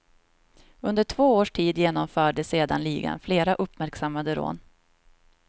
Under två års tid genomförde sedan ligan flera uppmärksammade rån.